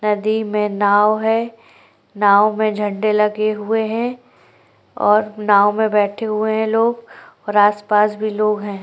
नदी में नाव है नाव में झंडे लगे हुए है और नाव में बैठे हुए है लोग और आस-पास भी लोग है।